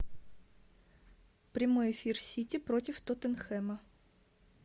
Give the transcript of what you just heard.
прямой эфир сити против тоттенхэма